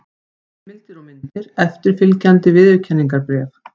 Heimildir og myndir: Eftirfylgjandi viðurkenningarbréf.